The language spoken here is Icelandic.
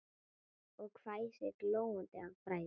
Og hvæsir, glóandi af bræði.